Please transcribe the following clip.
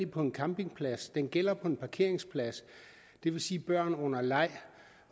på en campingplads den gælder på en parkeringsplads det vil sige at børn under leg